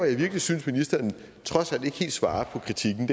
jeg virkelig synes at ministeren trods alt ikke helt svarer på kritikken